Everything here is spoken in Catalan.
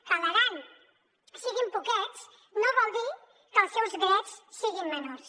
que a l’aran si·guin poquets no vol dir que els seus drets siguin menors